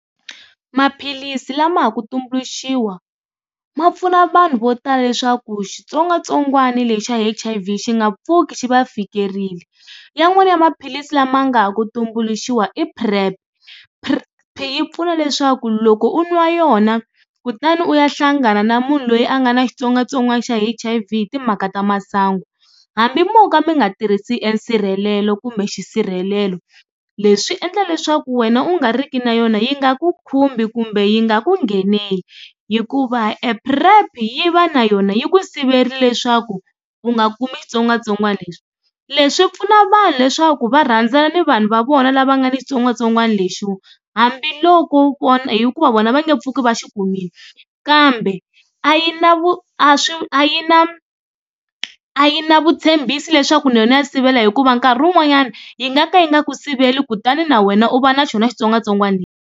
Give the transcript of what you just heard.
Maphilisi lama ha ku tumbuluxiwa ma pfuna vanhu vo tala leswaku xitsongwatsongwana lexa H_I_V xi nga pfuki xi va fikerile man'wani ya maphilisi lama nga ha ku tumbuluxiwa i PrEP yi pfuna leswaku loko u nwa yona kutani u ya hlangana na munhu loyi a nga na xitsongwatsongwana xa H_I_V hi timhaka ta masangu hambi mo ka mi nga tirhisi e nsirhelelo kumbe xisirhelelo leswi endla leswaku wena u nga riki na yona yi nga ku khumbi kumbe yi nga ku nghenele hikuva e PrEP yi va na yona yi ku siverile leswaku u nga kumi xitsongwatsongwana lexi. Leswi pfuna vanhu leswaku va rhandzana ni vanhu va vona lava nga ni xitsongwatsongwana lexiwa hambiloko hikuva vona va nge pfuki va xi kumile kambe a yi na a yi na a yi na vutshembisi leswaku na yona ya sivela hikuva nkarhi wun'wanyana yi nga ka yi nga ku sivela kutani na wena u va na xona xitsongwatsongwana lexi.